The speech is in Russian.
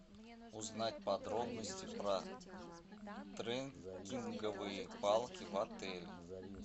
узнать подробности про треккинговые палки в отеле